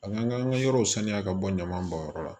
An ka an ka yɔrɔw saniya ka bɔ ɲaman bɔnyɔrɔ la